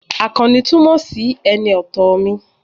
Àkànní túmọ̀ sí ẹni ọ̀tọ̀ mi